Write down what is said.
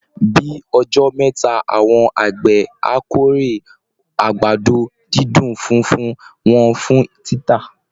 Bí ọjọ́ mẹ́ta, àwọn àgbẹ̀ á kórè àgbàdo-dídùn funfun wọn fún títà